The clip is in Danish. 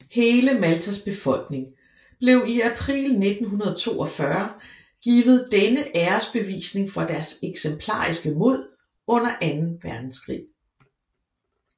Hele Maltas befolkning blev i april 1942 givet denne æresbevisningen for deres eksemplariske mod under anden verdenskrig